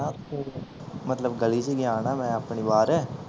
ਮਤਲਬ ਗਲੀ ਚ ਗਿਆ ਨਾ ਮੈਂ ਆਪਣੀ ਬਾਹਰ